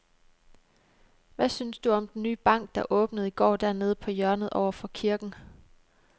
Hvad synes du om den nye bank, der åbnede i går dernede på hjørnet over for kirken?